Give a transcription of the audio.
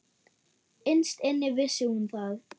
Innst inni vissi hún það.